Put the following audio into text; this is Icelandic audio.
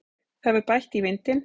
Það hefur bætt í vindinn.